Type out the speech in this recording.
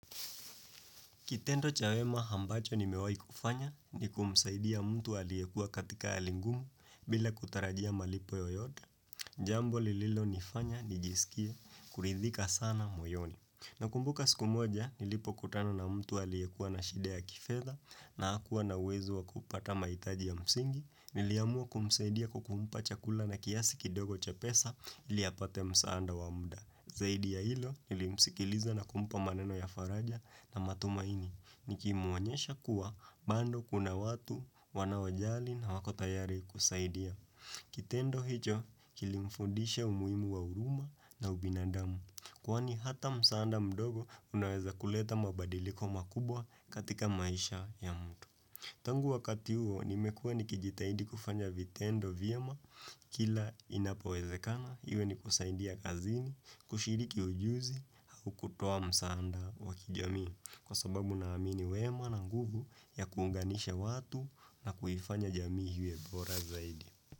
Kitendo cha wema ambacho nimewahi kufanya ni kumsaidia mtu aliyekuwa katika hali ngumu bila kutarajia malipo yoyote. Jambo lililonifanya nijisikie kuridhika sana moyoni. Nakumbuka siku moja, nilipokutana na mtu aliyekuwa na shida kifedha na hakuwa na uwezo wa kupata mahitaji ya msingi. Niliamua kumsaidia kwa kumpa chakula na kiasi kidogo cha pesa ili apate msaada wa muda. Zaidi ya hilo, nilimsikiliza na kumpa maneno ya faraja na matumaini, nikimwonyesha kuwa bado kuna watu wanaojali na wako tayari kusaidia. Kitendo hicho kilimfundisha umuhimu wa huruma na ubinadamu. Kwani hata msaada mdogo unaweza kuleta mabadiliko makubwa katika maisha ya mtu. Tangu wakati huo, nimekuwa nikijitahidi kufanya vitendo vyema kila inapawezekana, iwe ni kusaidia kazini, kushiriki ujuzi au kutoa msaada wa kijamii, kwa sababu naamini wema na nguvu ya kuunganisha watu na kuifanya jamii iwevbora zaidi.